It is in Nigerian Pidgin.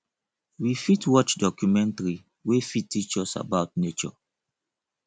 we fit watch documentary wey fit teach us about nature